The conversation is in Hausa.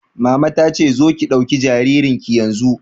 Mama ta ce 'Zo ki ɗauki jaririn ki yanzu'!